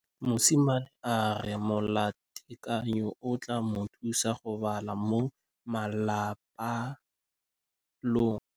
Mosimane a re molatekanyô o tla mo thusa go bala mo molapalong.